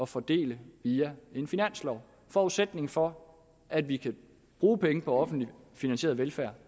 fordele via en finanslov forudsætningen for at vi kan bruge penge på offentligt finansieret velfærd